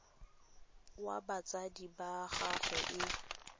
wa batsadi ba gagwe e